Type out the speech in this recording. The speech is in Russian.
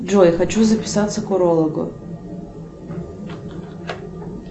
джой хочу записаться к урологу